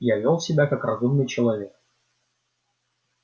я вёл себя как разумный человек